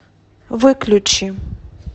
выключи